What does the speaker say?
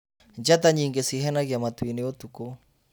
Njata nyingĩ cihenagia matu-inĩ ũtukũ.